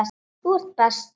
Þú ert bestur.